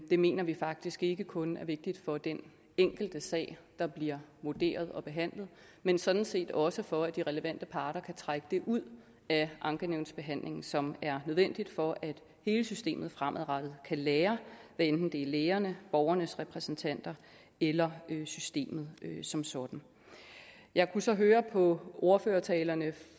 mener vi faktisk ikke kun er vigtigt for den enkelte sag der bliver vurderet og behandlet men sådan set også for at de relevante parter kan trække det ud af ankenævnsbehandlingen som er nødvendigt for at hele systemet fremadrettet kan lære hvad enten det er lægerne borgernes repræsentanter eller systemet som sådan jeg kunne så høre på ordførertalerne